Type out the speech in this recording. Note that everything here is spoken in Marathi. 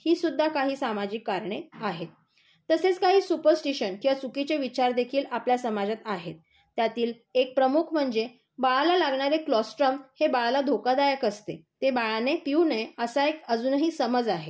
हीसुद्धा काही सामाजिक कारणे आहेत. तसेच काही सुपरस्टीशन किंवा काही चुकीचे विचार देखील आपल्या समाजात आहेत. त्यातील एक प्रमुख म्हणजे बाळाला लागणारे क्लोस्ट्रोल हे बाळाला धोकादायक असते, ते बाळाने पिऊ नये असा अजूनही समज आहे.